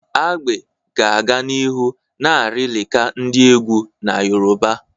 Agbe ga-aga n'ihu na-arịlịka ndi egwu na Yoruba.